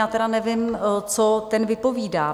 Já tedy nevím, co ten vypovídá.